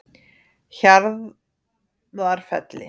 Hjarðarfelli